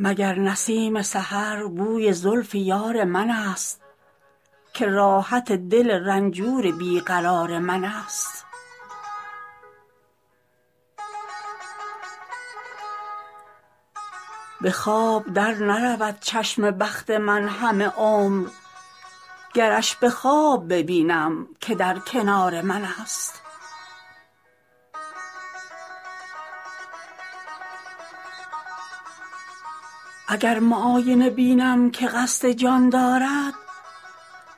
مگر نسیم سحر بوی زلف یار منست که راحت دل رنجور بی قرار منست به خواب در نرود چشم بخت من همه عمر گرش به خواب ببینم که در کنار منست اگر معاینه بینم که قصد جان دارد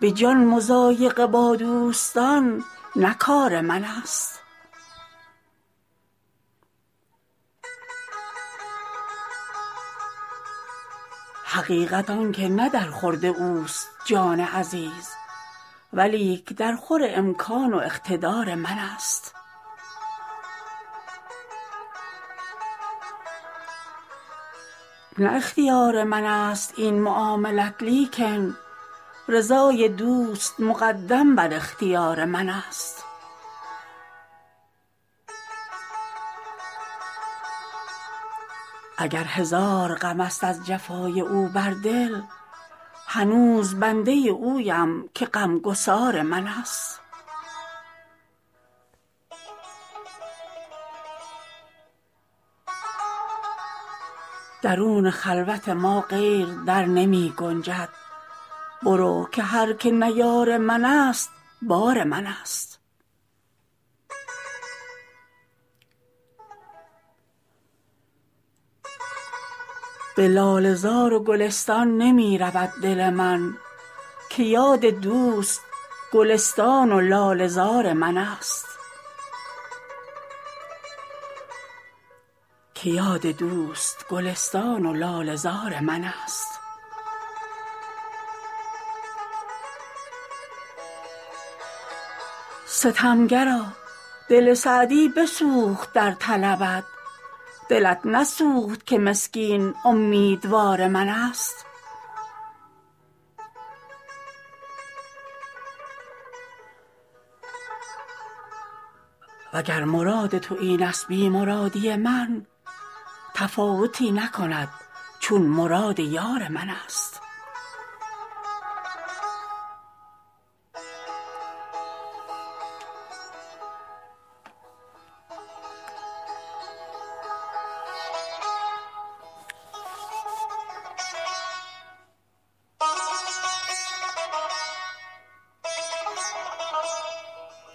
به جان مضایقه با دوستان نه کار منست حقیقت آن که نه در خورد اوست جان عزیز ولیک درخور امکان و اقتدار منست نه اختیار منست این معاملت لیکن رضای دوست مقدم بر اختیار منست اگر هزار غمست از جفای او بر دل هنوز بنده اویم که غمگسار منست درون خلوت ما غیر در نمی گنجد برو که هر که نه یار منست بار منست به لاله زار و گلستان نمی رود دل من که یاد دوست گلستان و لاله زار منست ستمگرا دل سعدی بسوخت در طلبت دلت نسوخت که مسکین امیدوار منست و گر مراد تو اینست بی مرادی من تفاوتی نکند چون مراد یار منست